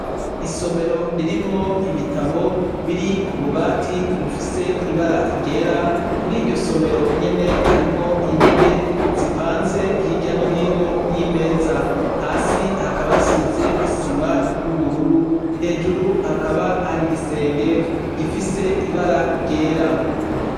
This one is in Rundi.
Isomero ririmwo ibitabo biri kububati bufise ibara ryera muriryo somero nyene harimwo intebe zipanze hirya nohino yimeza hasi hakaba hasize isima yuburura hejuru hakaba hari igisenge gifise ibara ryera